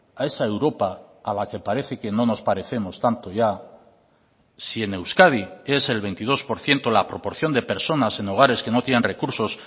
a esa europa a la que parece que no nos parecemos tanto ya si en euskadi es el veintidós por ciento la proporción de personas en hogares que no tienen recursos